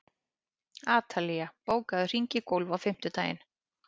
Atalía, bókaðu hring í golf á fimmtudaginn.